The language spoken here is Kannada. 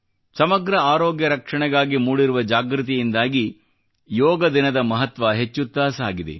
ಸಮಗ್ರ ಆರೋಗ್ಯ ರಕ್ಷಣೆಗಾಗಿ ಮೂಡಿರುವ ಜಾಗೃತಿಯಿಂದಾಗಿ ಯೋಗ ದಿನದ ಮಹತ್ವ ಹೆಚ್ಚುತ್ತಾ ಸಾಗಿದೆ